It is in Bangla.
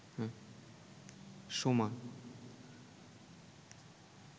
সোমা